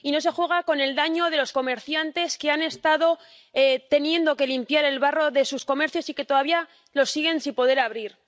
Y no se juega con el daño de los comerciantes que han estado teniendo que limpiar el barro de sus comercios y que todavía los siguen sin poder abrir.